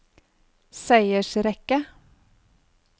seiersrekke